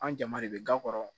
An jama de bɛ ga kɔrɔ